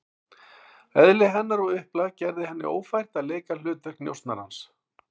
Eðli hennar og upplag gerði henni ófært að leika hlutverk njósnarans.